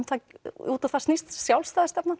út á það snýst sjálfstæðisstefnan